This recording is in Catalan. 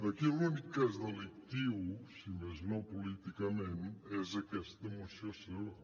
aquí l’únic que és delictiu si més no políticament és aquesta moció seva